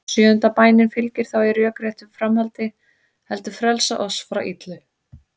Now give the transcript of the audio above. Sjöunda bænin fylgir þá í rökréttu framhaldi: Heldur frelsa oss frá illu.